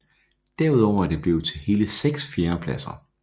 Derudover er det blevet til hele seks fjerdepladser